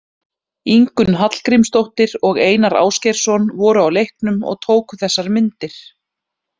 Ingunn Hallgrímsdóttir og Einar Ásgeirsson voru á leiknum og tóku þessar myndir.